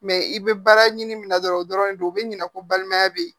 Mɛ i bɛ baara ɲini min na dɔrɔn o dɔrɔn de don u bɛ ɲina ko balimaya bɛ ye